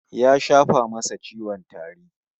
Ya shafa masa ciwon tari